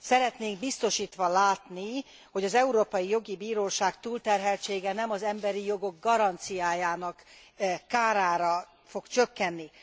Szeretnénk biztosítva látni, hogy az Emberi Jogi Bíróság túlterheltsége nem az emberi jogok garanciájának kárára fog csökkenni.